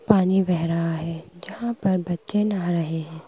पानी बह रहा है जहाँ पर बच्चे नहा रहे हैं।